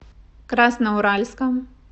красноуральском